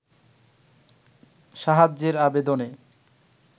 সাহায্যের আবেদনে